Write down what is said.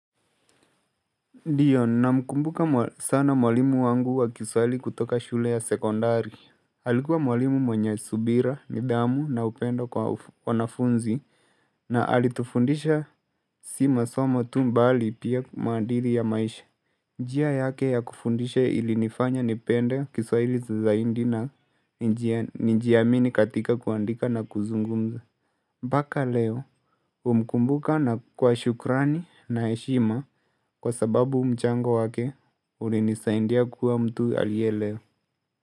Ndiyo namkumbuka sana mwalimu wangu wa kiswahili kutoka shule ya sekondari alikuwa mwalimu mwenye subira ni nidhamu na upendo kwa wanafunzi na alitufundisha si masomo tu mbali pia maadili ya maisha njia yake ya kufundishe ili nifanya nipende kiswahili za zaidi na nijiaamini katika kuandika na kuzungumza mpaka leo humkumbuka na kwa shukrani na heshima kwa sababu mchango wake ulinisaidia kuwa mtu alie leo.